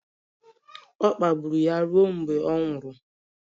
Ọ kpagburu ya ruo mgbe ọ nwụrụ..